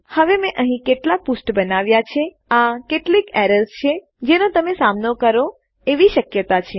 હવે મેં અહીં કેટલાક પૃષ્ઠ બનાવ્યા છેઆ કેટલીક એરર્સ છે જેનો તમે સામનો કરો એવી શક્યતા છે